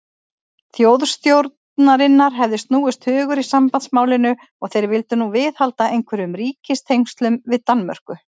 Þjóðstjórnarinnar hefði snúist hugur í sambandsmálinu, og þeir vildu nú viðhalda einhverjum ríkistengslum við Danmörku.